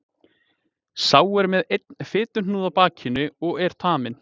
Sá er með einn fituhnúð á bakinu og er taminn.